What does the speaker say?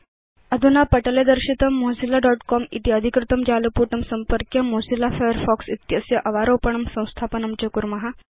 29 000332 000310 अधुना पटले दर्शितं mozillaकॉम इति अधिकृतं जालपुटं संपर्क्य मोजिल्ला फायरफॉक्स इत्यस्य अवारोपणं संस्थापनं च कुर्म